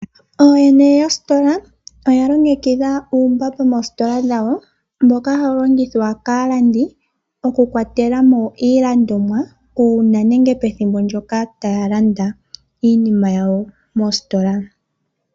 Ooyene yostola oya longekidha uumbamba moositola dhawo mboka hawu longithwa kaalandi, oku kwatela mo iilandomwa uuna nenge pethimbo ndjoka taa landa iinima yawo moositola.